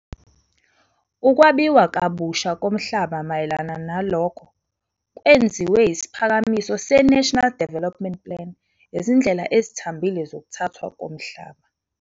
Ukwabiwa kabusha komhlaba - mayelana nalokho kwenziwe isiphakamiso se-Nationa Development Plan izindlela ezithambile zokuthathwa komhlaba,